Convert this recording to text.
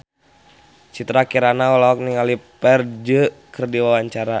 Citra Kirana olohok ningali Ferdge keur diwawancara